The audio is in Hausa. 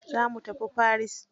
Zo mu tafi Paris.